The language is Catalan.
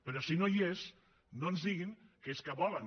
però si no hi és no ens diguin que és que volen